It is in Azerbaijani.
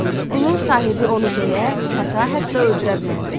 Qulun sahibi onu döyə, sata, hətta öldürə bilərdi.